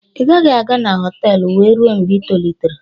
"Ị gaghị aga na họtelu wee ruo mgbe i tolitere"